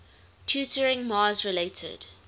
tutoring mars related